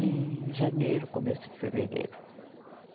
em janeiro, começo de fevereiro.